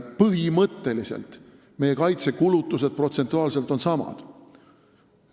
Põhimõtteliselt on meie kaitsekulutused protsentuaalselt samad.